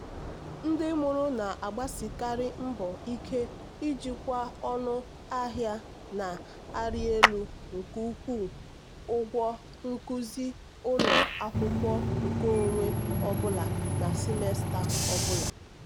ndị mụrụ na-agbasikarị mbọ ike ijikwa ọnụ ahịa na-arị elu nke ịkwụ ụgwọ nkuzi ụlọ akwụkwọ nkeonwe ọ bụla na simesta ọ bụla.